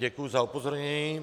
Děkuji za upozornění.